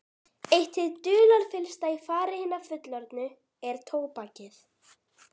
Eitt hið dularfyllsta í fari hinna fullorðnu er tóbakið.